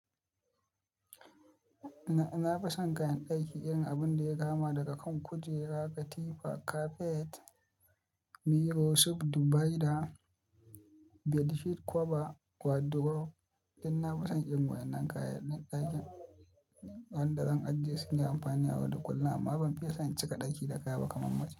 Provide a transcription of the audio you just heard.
Na fi son kayan ɗaki irin abun da ya kama daga kan kujera, katifa, kafet, mirror, su dubaida, bedsheet cover, wardrobe. Inna fi son irin waɗannan kayan ɗakin wanda zan ajiye su nayi amfani ayau da kullum amma ban fiye san cika ɗaki da kaya ba kamar mace.